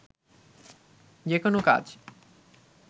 যেকোনো কাজ